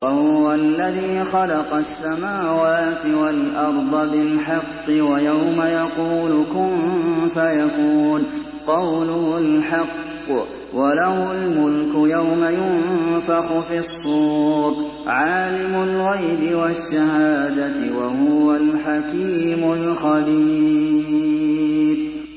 وَهُوَ الَّذِي خَلَقَ السَّمَاوَاتِ وَالْأَرْضَ بِالْحَقِّ ۖ وَيَوْمَ يَقُولُ كُن فَيَكُونُ ۚ قَوْلُهُ الْحَقُّ ۚ وَلَهُ الْمُلْكُ يَوْمَ يُنفَخُ فِي الصُّورِ ۚ عَالِمُ الْغَيْبِ وَالشَّهَادَةِ ۚ وَهُوَ الْحَكِيمُ الْخَبِيرُ